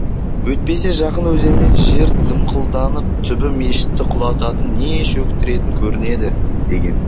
өйтпесе жақын өзеннен жер дымқылданып түбі мешітті құлататын не шөктіретін көрінеді деген